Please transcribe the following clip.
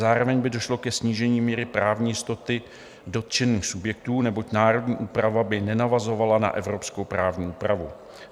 Zároveň by došlo ke snížení míry právní jistoty dotčených subjektů, neboť národní úprava by nenavazovala na evropskou právní úpravu.